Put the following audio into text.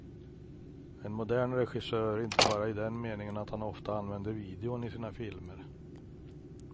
En modern regissör, inte bara i den meningen att han ofta använder videon i sina filmer.